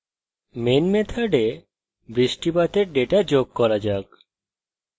main method বৃষ্টিপাতের data যোগ করা যাক